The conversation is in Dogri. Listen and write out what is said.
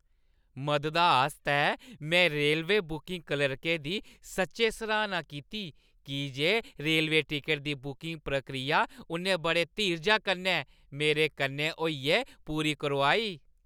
मददा आस्तै में रेलवे बुकिंग क्लर्कै दी सच्चैं सराह्‌ना कीती की जे रेल टिकटा दी बुकिंग प्रक्रिया उʼन्नै बड़े धीरजै कन्नै मेरे कन्नै होइयै पूरी करोआई।